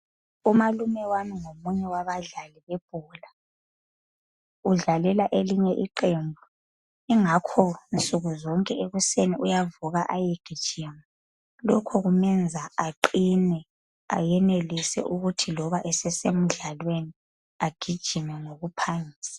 Umalume wami ngomunye wabadlali bebhola. Udlalela elinye iqembu. Ingakho nsukuzonke ekuseni uyavuka ayegijima. Lokhu kumenza aqine ayenelise ukuthi loba esesemdlalweni agijime ngokuphangisa.